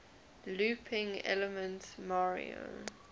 looping elements mario